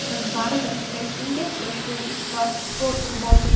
Biz baribir pressingga dosh berdik va gol urib oldik.